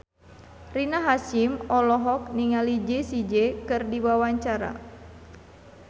Rina Hasyim olohok ningali Jessie J keur diwawancara